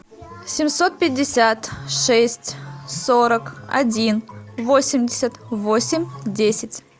семьсот пятьдесят шесть сорок один восемьдесят восемь десять